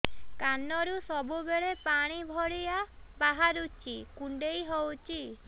କାନରୁ ସବୁବେଳେ ପାଣି ଭଳିଆ ବାହାରୁଚି କୁଣ୍ଡେଇ ହଉଚି